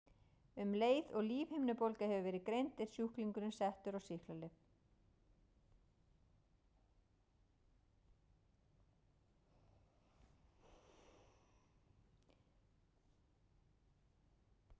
Um leið og lífhimnubólga hefur verið greind er sjúklingurinn settur á sýklalyf.